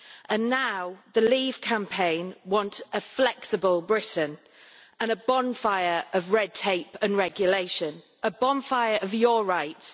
And now the leave campaign wants a flexible Britain and a bonfire of red tape and regulation a bonfire of your rights.